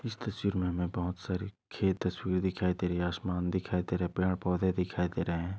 इस तस्वीर में हमें बहुत सारे खेत तस्वीर दिखाई दे रही है आसमान दिखाई दे रहा है पेड पोधे दिखाई दे रहे है।